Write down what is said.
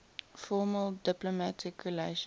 formal diplomatic relations